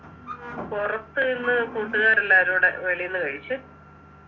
ഉം പുറത്തുന്ന് കൂട്ടുകാരെല്ലാരൂടെ വെളിന്ന് കഴിച്ചു